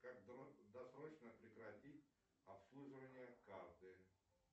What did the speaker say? как досрочно прекратить обслуживание карты